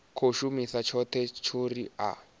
khou shuma tshone tshori a